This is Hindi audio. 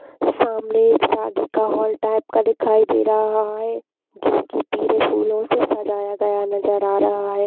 सामने एक शादी का हॉल टाइप का दिखाई दे रहा है जो की पीले फूलो से सजाया गया नज़र आ रहा है।